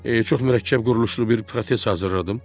Çox mürəkkəb quruluşlu bir protez hazırladım.